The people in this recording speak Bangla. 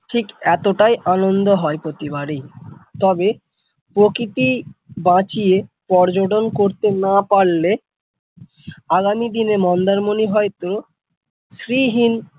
ঠিক এতটাই আনন্দ হয় প্রতিবারই তবে প্রকৃতি বাঁচিয়ে পর্যটন করতে না পারলে আগামী দিনে মন্দার মনি হয়তো শ্রী হীন ।